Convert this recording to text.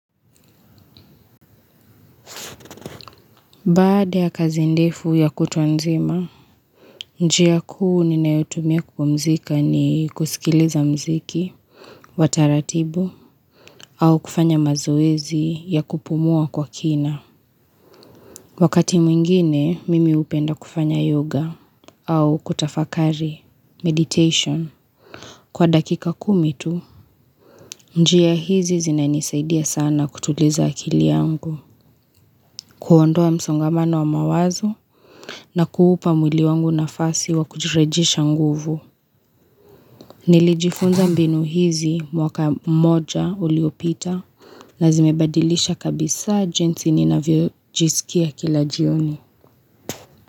Baada ya kazi ndefu ya kutwa nzima, njia kuu nina yotumia kupumzika ni kusikiliza mziki, wataratibu, au kufanya mazoezi ya kupumua kwa kina. Wakati mwingine, mimi upenda kufanya yoga, au kutafakari, meditation. Kwa dakika kumi tu, njia hizi zina nisaidia sana kutuliza akili yangu, kuondoa msongamano wa mawazo, na kuupa mwili wangu na fasi wa kujirejesha nguvu Nilijifunza mbinu hizi mwaka mmoja uliopita na zimebadilisha kabisa jinsi ninavyo jisikia kila jioni.